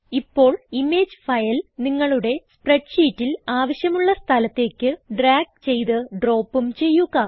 ഇപ്പോൾ image file നിങ്ങളുടെ സ്പ്രെഡ് ഷീറ്റിൽ ആവശ്യമുള്ള സ്ഥലത്തേക്ക് ഡ്രാഗ് ചെയ്ത് ഡ്രോപ്പും ചെയ്യുക